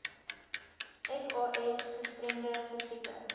fas gestremde fisieke